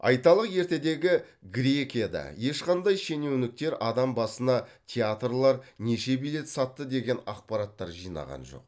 айталық ертедегі грекияда ешқандай шенеуніктер адам басына театрлар неше билет сатты деген ақпараттар жинаған жоқ